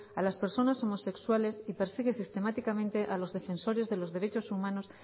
a las personas homosexuales y persigue sistemáticamente a los defensores de los derechos humanos